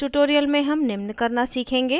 इस tutorial में हम निम्न करना सीखेंगे